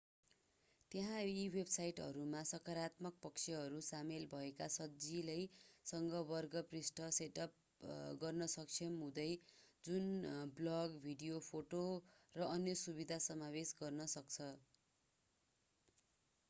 त्यहाँ यी वेबसाइटहरूमा सकारात्मक पक्षहरू सामेल भएका सजिलैसँग वर्ग पृष्ठ सेटअप गर्न सक्षम हुँदै जुन ब्लग भिडियो फोटो र अन्य सुविधा समावेश गर्न सक्छ